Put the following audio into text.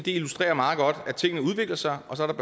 illustrerer meget godt at tingene udvikler sig og så er